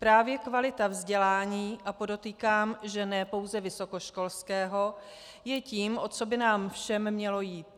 Právě kvalita vzdělání, a podotýkám, že ne pouze vysokoškolského, je tím, o co by nám všem mělo jít.